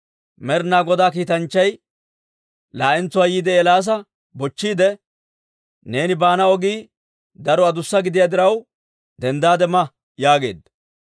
Med'inaa Godaa kiitanchchay laa'entsuwaa yiide Eelaasa bochchiide, «Neeni baana ogii daro adussa gidiyaa diraw, denddaade ma» yaageedda.